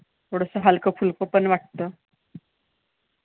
थोडंसं हलकं फुलकं पण वाटतं.